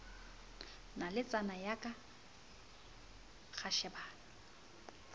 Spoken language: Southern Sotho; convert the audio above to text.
naletsana ya ka ra shebana